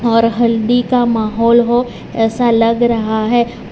और हल्दी का माहौल हो ऐसा लग रहा है।